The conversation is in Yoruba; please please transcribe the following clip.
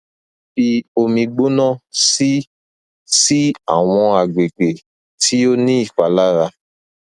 fi omi gbona si si awọn agbegbe ti o ni ipalara